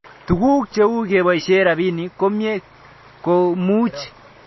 Tuguk cheu kepoishe rabinik komie ko much ketopen